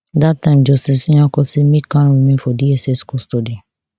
dat time justice nyako say make kanu remain for dss custody